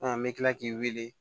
n bɛ tila k'i wele